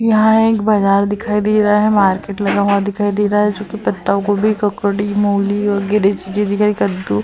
यहाँ एक बाजार दिखाई दे रहा है। मार्केट लगा हुआ दिखाई दे रहा है जो कि पत्तागोभी ककड़ी मूली और कद्दू --